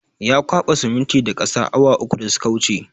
Ya kwaba siminitin da ƙasa awa uku da suka wuce